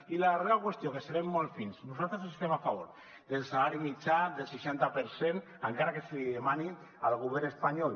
i la darrera qüestió que serem molt fins nosaltres estem a favor del salari mitjà del seixanta per cent encara que se li demani al govern espanyol